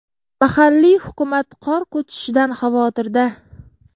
Mahalliy hukumat qor ko‘chishidan xavotirda.